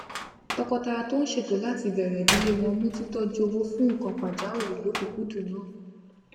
tọkọtaya tó ń ṣètò láti bèrè ìdílé wọn mú titoju owó fún nǹkan pajáwìrì lọkùkúndùn nàá